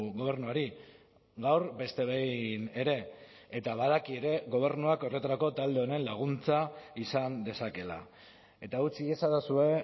gobernuari gaur beste behin ere eta badaki ere gobernuak horretarako talde honen laguntza izan dezakeela eta utz iezadazue